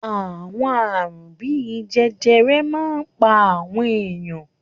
Àwọn àrùn bí i jẹjẹrẹ máa ń pa àwọn ènìyàn.